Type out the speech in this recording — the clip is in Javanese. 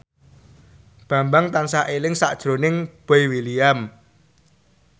Bambang tansah eling sakjroning Boy William